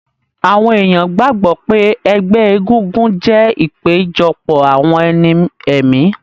Àwọn èèyàn gbàgbọ́ pé ẹgbẹ́ egúngún jẹ́ ìpéjọpọ̀ àwọn ẹni ẹ̀mí